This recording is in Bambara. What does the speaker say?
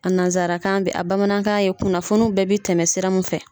A nansarakan bɛ a bamanankan ye kunnafoni bɛɛ bɛ tɛmɛ sira min fɛ.